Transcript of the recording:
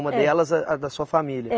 Uma delas a a da sua família. É